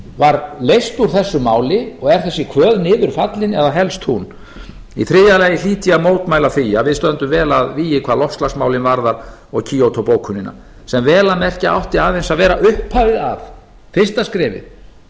var leyst úr þessu máli og er þessi kvöð niður fallin eða helst hún í þriðja lagi hlýt ég að mótmæla því að við stöndum vel að vígi hvað loftslagsmálin varðar og kyoto bókunina sem vel að merkja átti aðeins að vera upphafið að fyrsta skrefið